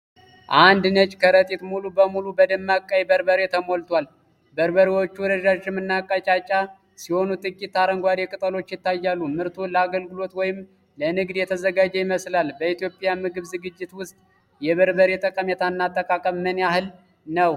አንድ ነጭ ከረጢት ሙሉ በሙሉ በደማቅ ቀይ በርበሬ ተሞልቷል። በርበሬዎቹ ረዣዥምና ቀጫጫ ሲሆኑ፣ ጥቂት አረንጓዴ ቅጠሎች ይታያሉ። ምርቱ ለአገልግሎት ወይም ለንግድ የተዘጋጀ ይመስላል። በኢትዮጵያ ምግብ ዝግጅት ውስጥ የበርበሬ ጠቀሜታና አጠቃቀም ምን ያህል ነው?